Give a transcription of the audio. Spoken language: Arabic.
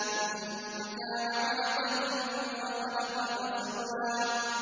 ثُمَّ كَانَ عَلَقَةً فَخَلَقَ فَسَوَّىٰ